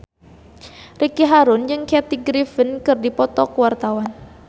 Ricky Harun jeung Kathy Griffin keur dipoto ku wartawan